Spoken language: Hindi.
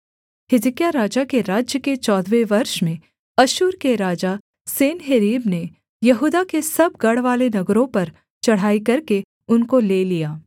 हिजकिय्याह राजा के राज्य के चौदहवें वर्ष में अश्शूर के राजा सन्हेरीब ने यहूदा के सब गढ़वाले नगरों पर चढ़ाई करके उनको ले लिया